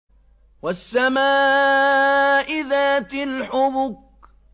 وَالسَّمَاءِ ذَاتِ الْحُبُكِ